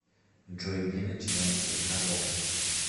джой где начинается река окс